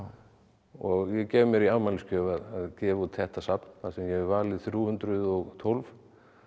og ég gef mér í afmælisgjöf að gefa út þetta safn þar sem ég hef valið þrjú hundruð og tólf